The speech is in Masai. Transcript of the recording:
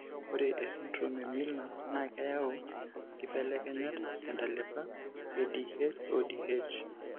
Ore esindirom eMiller naa keyau inkibelekenyat tentalipa eDHODH.